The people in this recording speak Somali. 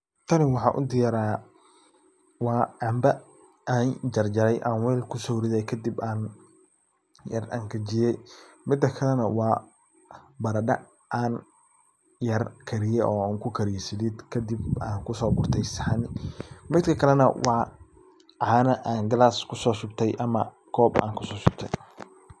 Tani waxaan u diyaariya waa cambo aan jarjaray aan wel kuso riday kadib aan yar angajiyay . Mida kale na waa baradha aan yar kadiye oo aan ku kadiye salid kadib aan ku so gurtay saxan midka kale na waa caana galas kusoshubtay ama aan kob aan kusoshubtay.